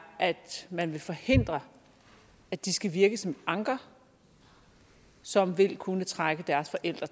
at man vil forhindre at de skal virke som et anker som vil kunne trække deres forældre